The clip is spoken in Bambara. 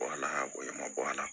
Wala ko ne ma bɔ ala